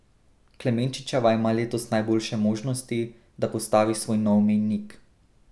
Klemenčičeva ima letos najboljše možnosti, da postavi svoj nov mejnik.